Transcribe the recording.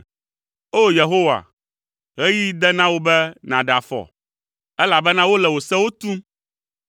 O! Yehowa, ɣeyiɣi de na wò be nàɖe afɔ, elabena wole wò sewo tum.